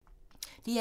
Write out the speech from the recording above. DR2